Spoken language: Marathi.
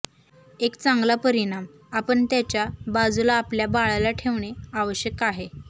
एक चांगला परिणाम आपण त्याच्या बाजूला आपल्या बाळाला ठेवणे आवश्यक आहे